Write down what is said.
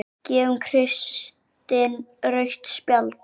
Gefur Kristinn rautt spjald?